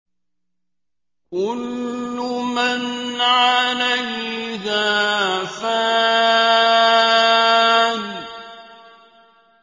كُلُّ مَنْ عَلَيْهَا فَانٍ